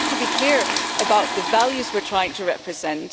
We have to be clear about the values we are trying to represent.